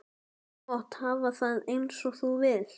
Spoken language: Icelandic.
Þú mátt hafa það eins og þú vilt.